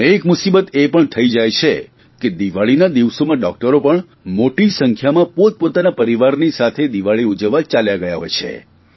અને એક મુસીબત એ પણ થઇ જાય છે કે દિવાળીના દિવસોમાં ડૉકટરો પણ મોટી સંખ્યામાં પોતપોતાના પરિવારની સાથે દિવાળી ઉજવવા ચાલ્યા ગયા હોય છે